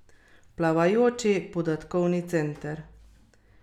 Plavajoči podatkovni center?